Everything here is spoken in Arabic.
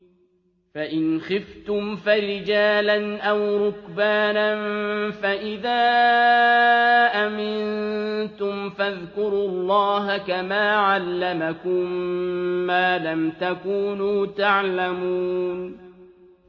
فَإِنْ خِفْتُمْ فَرِجَالًا أَوْ رُكْبَانًا ۖ فَإِذَا أَمِنتُمْ فَاذْكُرُوا اللَّهَ كَمَا عَلَّمَكُم مَّا لَمْ تَكُونُوا تَعْلَمُونَ